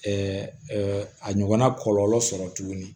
a ɲɔgɔnna kɔlɔlɔ sɔrɔ tuguni